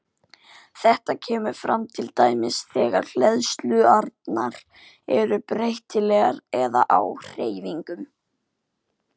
Þetta kemur fram til dæmis þegar hleðslurnar eru breytilegar eða á hreyfingu.